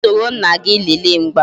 Gaa soro nna gị lele mgba